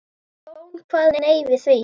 Jón kvað nei við því.